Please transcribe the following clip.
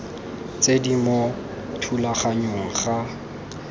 tse di mo thulaganyong ga